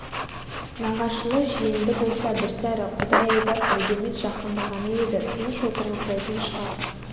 нағашылы-жиенді болса бір сәрі құдай айдап іргеміз жақындағаны еді тыныш отырғызбайтын шығар